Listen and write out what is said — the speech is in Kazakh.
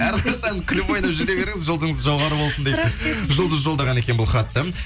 әрқашан күліп ойнап жүре беріңіз жұлдызыңыз жоғары болсын дейді жұлдыз жолдаған екен бұл хатты